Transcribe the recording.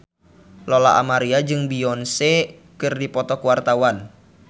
Lola Amaria jeung Beyonce keur dipoto ku wartawan